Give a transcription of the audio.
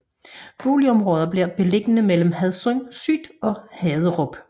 Boligområdet bliver beliggende mellem Hadsund Syd og Haderup